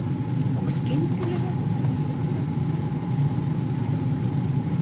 Og skyndilega fór ég að hugsa um bökur.